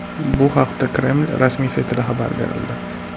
Bu haqda Kreml rasmiy saytida xabar berildi .